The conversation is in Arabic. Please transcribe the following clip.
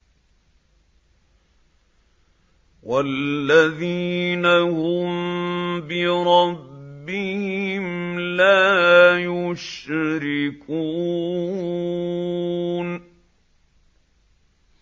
وَالَّذِينَ هُم بِرَبِّهِمْ لَا يُشْرِكُونَ